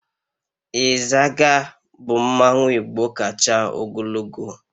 Izaga bu mmanwu igbo kacha ogologo